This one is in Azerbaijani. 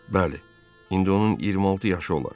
Bəli, indi onun 26 yaşı olar.